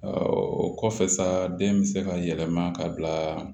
o kɔfɛ saden bɛ se ka yɛlɛma ka bila